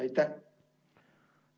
Aitäh!